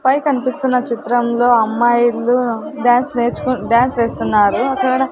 పై కనిపిస్తున్న చిత్రంలో అమ్మాయిలు డాన్స్ నేర్చు డాన్స్ వేస్తున్నారు అక్కడ.